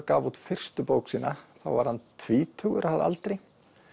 gaf út fyrstu bók sína þá var hann tvítugur að aldri